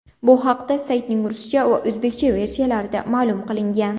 Bu haqda saytning ruscha va o‘zbekcha versiyalarida ma’lum qilingan.